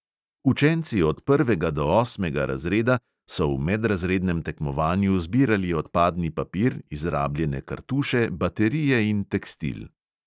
Učenci od prvega do osmega razreda so v medrazrednem tekmovanju zbirali odpadni papir, izrabljene kartuše, baterije in tekstil.